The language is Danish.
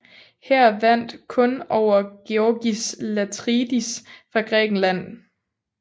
Han vandt kun over Georgis Latridis fra Grækenland